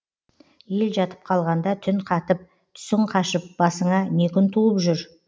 ел жатып қалғанда түн қатып түсің қашып басыңа не күн туып жүр